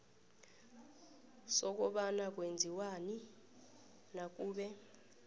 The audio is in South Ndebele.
sokobana kwenziwani nakube